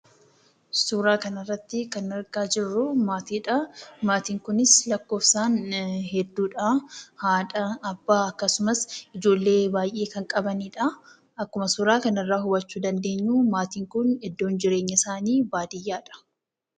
Suuraa kan irratti kan argaa jirruu maatii dha. Maatiin kunis lakkoofsaan hedduu dha. Haadha, Abbaa fi ijoollee baayyee kan qabanii dha. Akkuma suuraa kan irraa hubannuu maatiin kun bakki jireenya isaanii baadiyyaa dha.